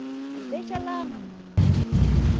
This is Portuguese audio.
É, deixa lá, mano